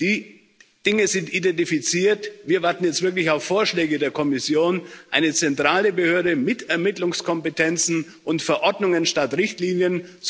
Die Dinge sind identifiziert, wir warten jetzt wirklich auf Vorschläge der Kommission eine zentrale Behörde mit Ermittlungskompetenzen und Verordnungen statt Richtlinien.